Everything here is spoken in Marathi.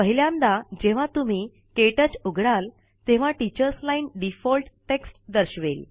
पाहिल्यांदा जेव्हा तुम्ही के टच उघडाल तेव्हा टीचर्स लाईन डिफॉल्ट टेक्स्ट दर्शवेल